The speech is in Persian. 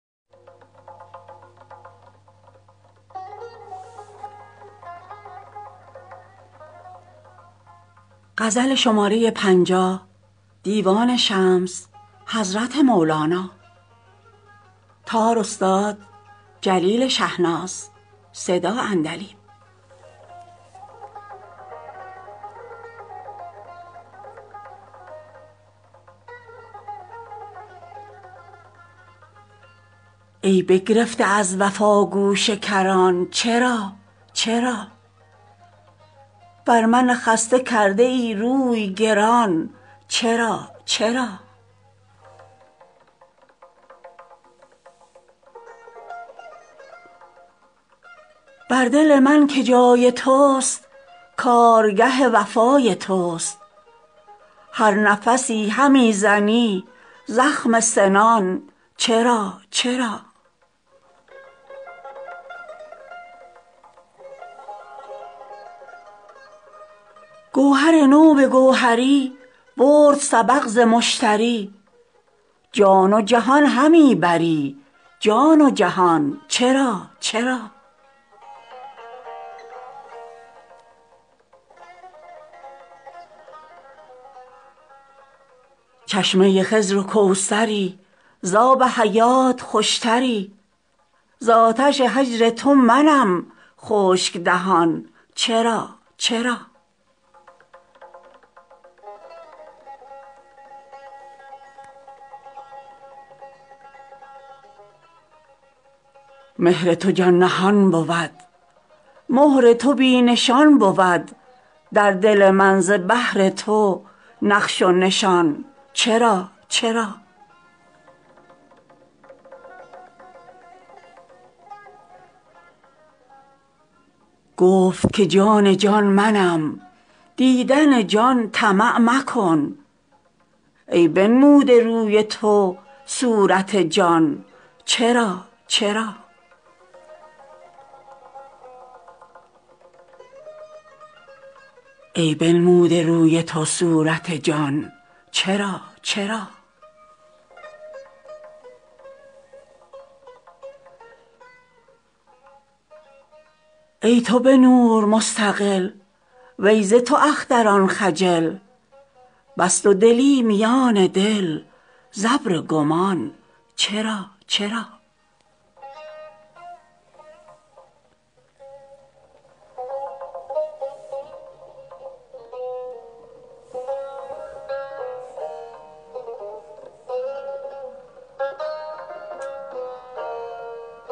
ای بگرفته از وفا گوشه کران چرا چرا بر من خسته کرده ای روی گران چرا چرا بر دل من که جای تست کارگه وفای تست هر نفسی همی زنی زخم سنان چرا چرا گوهر تو به گوهری برد سبق ز مشتری جان و جهان همی بری جان و جهان چرا چرا چشمه خضر و کوثری ز آب حیات خوشتری ز آتش هجر تو منم خشک دهان چرا چرا مهر تو جان نهان بود مهر تو بی نشان بود در دل من ز بهر تو نقش و نشان چرا چرا گفت که جان جان منم دیدن جان طمع مکن ای بنموده روی تو صورت جان چرا چرا ای تو به نور مستقل وی ز تو اختران خجل بس دودلی میان دل ز ابر گمان چرا چرا